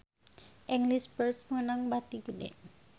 English First meunang bati gede